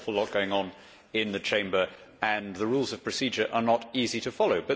there is an awful lot going on in the Chamber and the Rules of Procedure are not easy to follow.